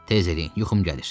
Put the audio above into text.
Təz eləyin, yuxum gəlir.